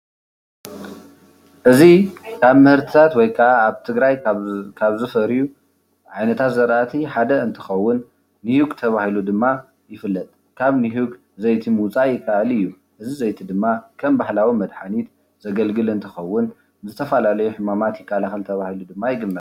እዚ ካብ ምህርትታት ወይካኣ ኣብ ትግራይ ካብ ዝፈርዩ ዓይነታት ዘርኣቲ ሓደ እንትኮውን ንሁግ ተባሂሉ ድማ ይፍለጥ። ካብ ንሁግ ዘይቲ ምውፃእ ይካኣል እዩ ።እዚ ዘይቲ ድማ ከም ባህላዊ መድሃኒት ዘገልግል እንትኸውን ዝተፈላለዩ ሕማማት ይከላከል ተባሂሉ ድማ ይግመት።